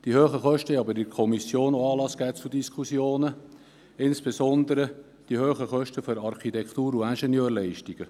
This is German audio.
Die hohen Kosten haben jedoch in der Kommission auch Anlass zu Fragen und Diskussionen gegeben, insbesondere bezüglich Architektur- und Ingenieurleistungen.